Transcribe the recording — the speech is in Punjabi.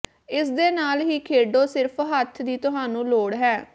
ਇਸ ਦੇ ਨਾਲ ਹੀ ਖੇਡੋ ਸਿਰਫ ਹੱਥ ਦੀ ਤੁਹਾਨੂੰ ਲੋੜ ਹੈ